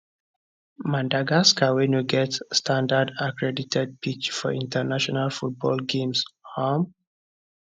madagascar wey no get standard accredited pitch for international football games um